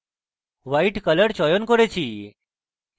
white color চয়ন করেছি